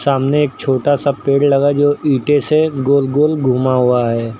सामने एक छोटा सा पेड़ लगा जो ईंटे से गोल गोल घुमा हुआ है।